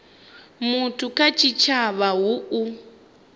muthu kha tshitshavha hu u